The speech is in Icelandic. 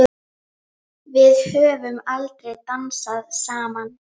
Bara að Jónsi væri heima.